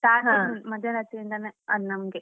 ಮಧ್ಯ ರಾತ್ರಿಯಿಂದಾನೆ ಅದ್ ನಮ್ಗೆ.